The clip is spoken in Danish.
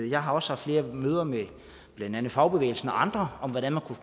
jeg har også haft flere møder med blandt andet fagbevægelsen og andre om hvordan man kunne